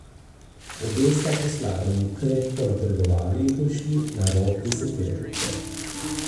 Obe sta po slalomu krepko napredovali in prišli na rob deseterice.